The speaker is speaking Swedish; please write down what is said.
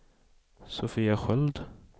Sofia Sköld